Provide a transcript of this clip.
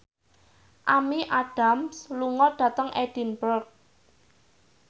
Amy Adams lunga dhateng Edinburgh